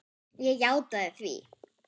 Ég játaði því.